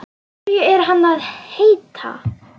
Hverju er hann að heita?